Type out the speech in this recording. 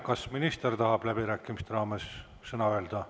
Kas minister tahab läbirääkimiste raames veel sõna?